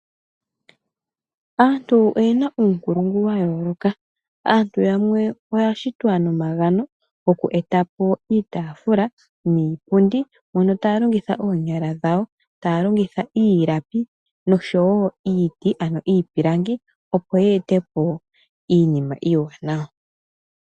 Aantu oyena uunkulungu wa yooloka, aantu yamwe oya shitwa nomagano oku eta po iitaafula niipundi mono taa longitha oonyala dhawo, taya longitha iilapi nosho wo iiti ano iipilangi, opo ye ete po iinima iiwanawa.